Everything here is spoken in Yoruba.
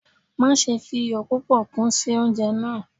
Maṣe fi iyọ pupọ kun si ounjẹ naa